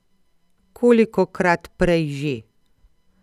Kolikokrat prej že?